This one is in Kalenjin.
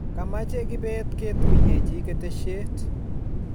Kamache kibet ketuyechi keteshet